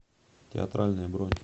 театральное бронь